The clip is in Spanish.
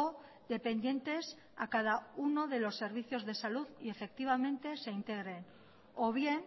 o dependientes a cada uno de los servicios de salud y efectivamente se integren o bien